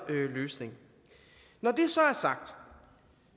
løsning når det